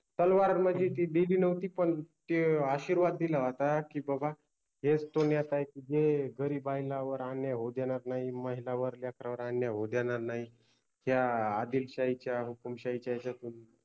तलवार मनजे ती दिलि नवति पन ते आशिर्वाद दिला होता कि ते बाबा गरिबायलावर अन्याय होवु देनार नाहि आणी महिलांवर आणी लेकरांवर अन्याय होवु देनार नाहि. त्या आदिलशाहिच्या हुकुम्शाहिच्या अशातून